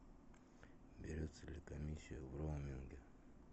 берется ли комиссия в роуминге